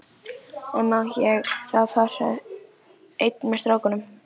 En má ég þá fara einn með strákunum?